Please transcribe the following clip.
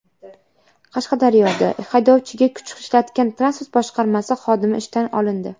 Qashqadaryoda haydovchiga kuch ishlatgan transport boshqarmasi xodimi ishdan olindi.